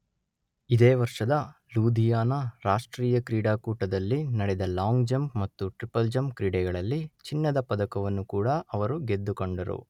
ಇದೇ ವರ್ಷದ ಲೂಧಿಯಾನ ರಾಷ್ಟ್ರೀಯ ಕ್ರೀಡಾಕೂಟದಲ್ಲಿ ನಡೆದ ಲಾಂಗ್ ಜಂಪ್ ಮತ್ತು ಟ್ರಿಪಲ್ ಜಂಪ್ ಕ್ರೀಡೆಗಳಲ್ಲಿ ಚಿನ್ನದ ಪದಕವನ್ನೂ ಕೂಡ ಅವರು ಗೆದ್ದುಕೊಂಡರು.